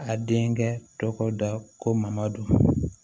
A denkɛ tɔgɔ da ko mamadu